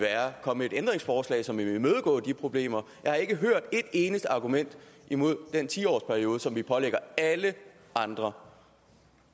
komme et ændringsforslag som vil imødegå de problemer jeg har ikke hørt et eneste argument imod den ti års periode som vi pålægger alle andre